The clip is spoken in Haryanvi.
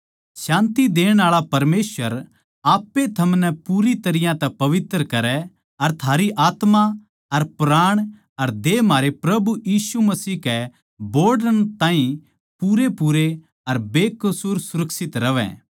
शान्ति देण आळे परमेसवर आप ए थमनै पूरी तरियां तै पवित्र करै अर थारी आत्मा अर प्राण अर देह म्हारै प्रभु यीशु मसीह कै बोहड़ण ताहीं पूरेपूरे अर बेकसूर सुरक्षित रहवैं